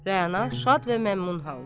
Rəana şad və məmnun halda.